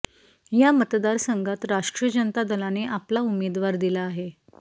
या मतदारसंघात राष्ट्रीय जनता दलाने आपला उमेदवार दिला आहे